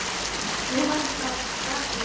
Nú var það bak við hann.